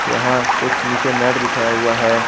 यहां कुछ नीचे मैट बिछाया हुआ है।